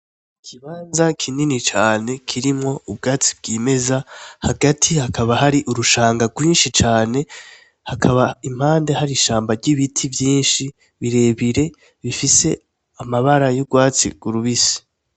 Ikibanza kinini cane kirimwo ubwatsi bwimeza hagati hakaba hari urushanga rwinshi cane, hakaba impande hari ishamba ry'ibiti vyinshi birebire bifise amabara y'urwatsi rubisi.